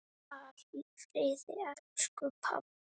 Far í friði, elsku pabbi!